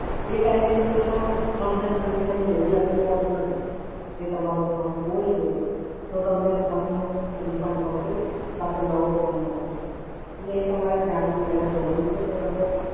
એ Time તમને Sir Terms And Conditions માં એવું લખેલું હોતું નથી. કે તમારો Phone ખોવાઈ ગયો છે, તો તમને Phone નું Refund મળશે કાં તો નવો Phone મળશે Sir. એટલે એ તમારે જાણવું પહેલા જરૂરી છે Sir. તમે